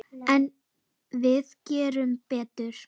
En við gerum betur.